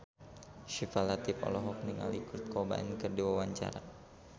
Syifa Latief olohok ningali Kurt Cobain keur diwawancara